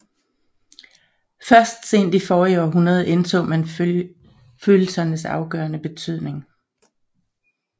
Først sent i forrige århundrede indså man følelsernes afgørende betydning